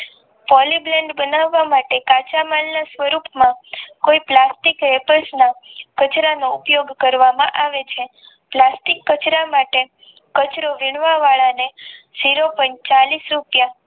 Poly Blend બનાવ માટે કાચા માલને પુરુક્શ કોઈ પ્લાસ્ટિક વેટલ્સ માં કચરાનો ઉપયોગ કરવામાં આવે છે પ્લાસ્ટિક કચરા માટે કચરો વીણવા વાળા ને zero point ચાલીશ રૂપિયા